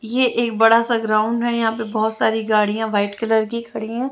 ये एक बड़ा सा ग्राउंड है यहाँ पर बहोत सारी गाड़ियाँ वाईट कलर कि खड़ी हैं।